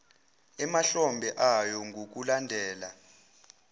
emahlombe ayo ngokulandela